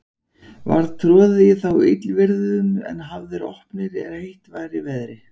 Var troðið í þá í illviðrum, en hafðir opnir, er heitt var í veðri.